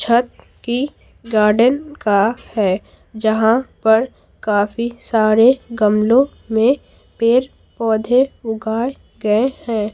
छत की गार्डन का है जहां पर काफी सारे गमलों में पेड़ पौधे उगाए गए हैं।